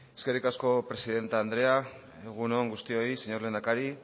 eskerrik asko presidente andrea egun on guztioi señor lehendakari